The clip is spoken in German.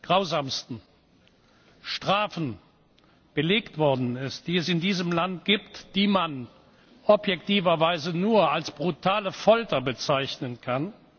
grausamsten Strafen belegt worden ist, die es in diesem Land gibt, die man objektiverweise nur als brutale Folter bezeichnen kann.